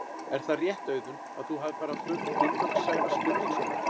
Er það rétt Auðun að þú hafir farið á fund Gunnlaugs Sævars Gunnlaugssonar?